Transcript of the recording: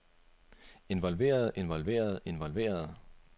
involverede involverede involverede